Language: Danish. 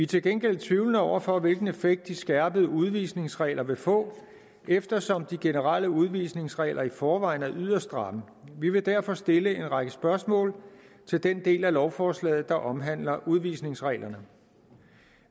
til gengæld tvivlende over for hvilken effekt de skærpede udvisningsregler vil få eftersom de generelle udvisningsregler i forvejen er yderst stramme vi vil derfor stille en række spørgsmål til den del af lovforslaget der omhandler udvisningsreglerne